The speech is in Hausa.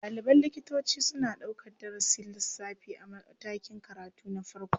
Ɗaliban likitoci suna ɗaukar darasin lissafi a matakin karatu na farko.